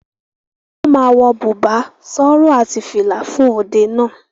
Wọ́n ma wọ bùbá, sọrọ àti fìlà fún òde náà.